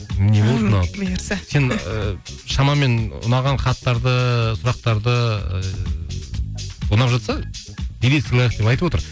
не болды мынау сен ы шамамен ұнаған хаттарды сұрақтарды ұнап жатса билет сыйлайық деп айтып отыр